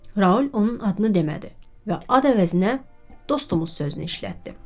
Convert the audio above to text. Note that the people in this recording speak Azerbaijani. Raul onun adını demədi və ad əvəzinə “dostumuz” sözünü işlətdi.